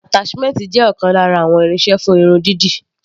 Attachment jẹ́ ọ̀kan lára àwọn irinṣẹ́ fún irun dídì.